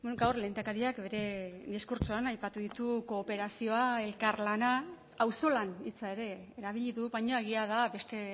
gaur lehendakariak bere diskurtsoan aipatu ditu kooperazioa elkarlana auzolan hitza ere erabili du baina egia da beste